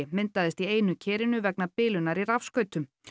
myndaðist í einu kerinu vegna bilunar í rafskautum